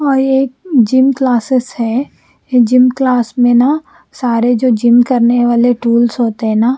और ये gym classes है जिम क्लास मे ना सारे जो जिम करने वाले ट्वील्स होते है ना--